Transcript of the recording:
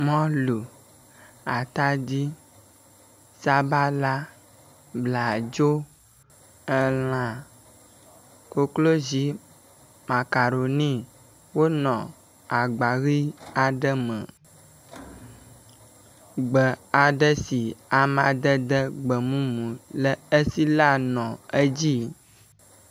Mɔlu, atadi, sabala, bladzo, elã, koklozi makaroni, wonɔ agba aɖe me ʋi aɖe me, gbe aɖe si amadede gbemumu le esi la nɔ edzi